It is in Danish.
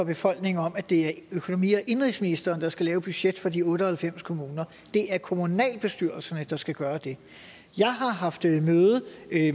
befolkningen om at det er økonomi og indenrigsministeren der skal lave budget for de otte og halvfems kommuner det er kommunalbestyrelserne der skal gøre det jeg har haft et møde